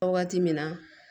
Waati min na